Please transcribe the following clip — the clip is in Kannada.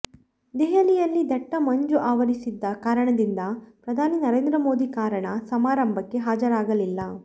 ದೆಹಲಿಯಲ್ಲಿ ದಟ್ಟ ಮಂಜು ಆವರಿಸಿದ್ದ ಕಾರಣದಿಂದ ಪ್ರಧಾನಿ ನರೇಂದ್ರ ಮೋದಿ ಕಾರಣ ಸಮಾರಂಭಕ್ಕೆ ಹಾಜರಾಗಲಿಲ್ಲ